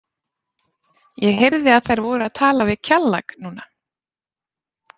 Ég heyrði að þær voru að tala við Kjallak núna.